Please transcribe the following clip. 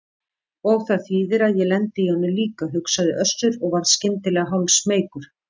Og það þýðir að ég lendi í honum líka, hugsaði Össur og varð skyndilega hálfsmeykur.